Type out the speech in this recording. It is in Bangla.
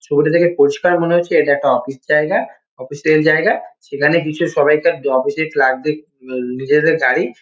ছবিটা দেখে পরিষ্কার মনে হচ্ছে এটা একটা অফিস জায়গা। অফিস -এর জায়গা। সেখানে কিছু সবাই তার অফিস -এর ক্লার্ক -দের উম নিজেদের গাড়ি।